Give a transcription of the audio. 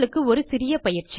உங்களுக்கு ஒரு சிறிய பயிற்சி